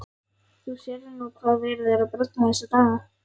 Þú sérð nú hvað verið er að bralla þessa dagana.